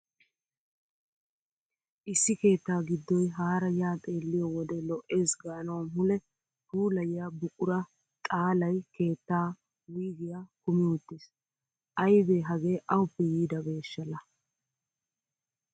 Issi keettaa giddoy haara yaa xeelliyo wode lo'ees gaanawu mule puulayiya buqura xaalaay keettaa wuygiya kumi uttiis. Aybee hagee awuppe yiidabeeshsha laa!